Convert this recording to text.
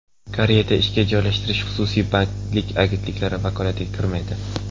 Koreyada ishga joylashtirish xususiy bandlik agentliklari vakolatiga kirmaydi.